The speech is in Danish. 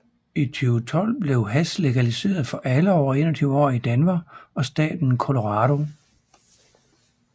I 2012 blev hash legaliseret for alle over 21 år i Denver og staten Colorado